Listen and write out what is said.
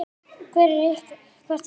Hvert er ykkar?